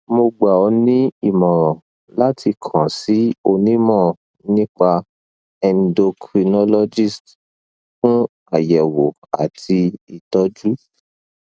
mo gbà ọ ní ìmọràn láti kàn sí onímọ nípa endocrinologist fún àyẹwò àti ìtọjú